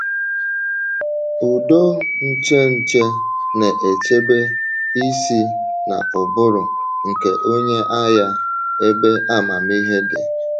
Ụdọ ncheche na-echebe isi na ụbụrụ nke onye agha — ebe amamihe dị.